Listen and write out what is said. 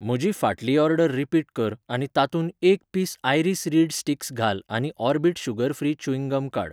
म्हजी फाटली order repeat कर आनी तातूंत एक पीस आयरीस रीड स्टिक्स घाल आनी Orbit sugar free chewing gum काड.